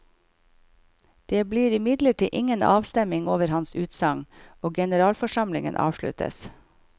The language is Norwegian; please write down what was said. Det blir imidlertid ingen avstemning over hans utsagn, og generalforsamlingen avsluttes.